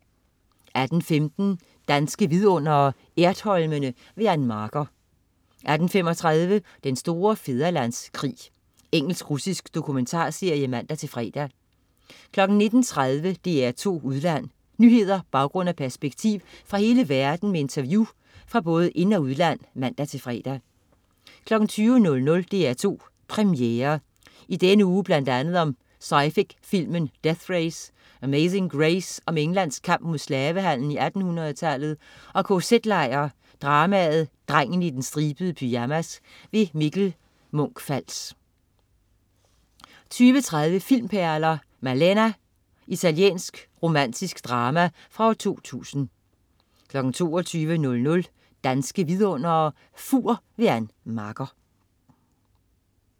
18.15 Danske Vidundere: Ertholmene. Ann Marker 18.35 Den store fædrelandskrig. Engelsk-russisk dokumentarserie (man-fre) 19.30 DR2 Udland. Nyheder, baggrund og perspektiv fra hele verden med interview fra både ind- og udland (man-fre) 20.00 DR2 Premiere. Denne uge bl.a. om sci-fi filmen Death Race, Amazing Grace om Englands kamp mod slavehandlen i 1800 tallet og KZ-lejr dramaet Drengen i den stribede pyjamas. Mikkel Munch-Fals 20.30 Filmperler: Malèna. Italiensk romantisk drama fra 2000 22.00 Danske Vidundere: Fur. Ann Marker